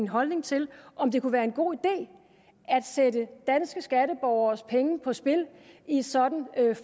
holdning til om det kunne være en god idé at sætte danske skatteborgeres penge på spil i et sådant